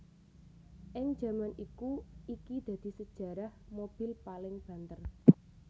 Ing jaman iku iki dadi sejarah mobil paling banter